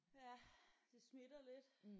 Ja det smitter lidt